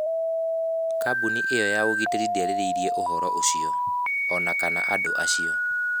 Kambuni ĩyo ya ũgitĩri ndĩarĩrĩirie ũhoro ũcio, o na kana andũ acio.